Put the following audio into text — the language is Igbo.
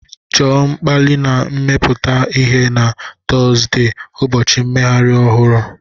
Chọọ mkpali na imepụta ihe na Tọzdee, ụbọchị mmeghari ohuru